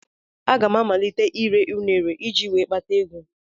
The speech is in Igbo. Aga m amalite ire ụnere iji wee kpata ego.